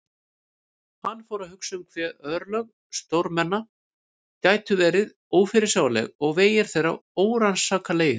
Hann fór að hugsa um hve örlög stórmenna gætu verið ófyrirsjáanleg og vegir þeirra órannsakanlegir.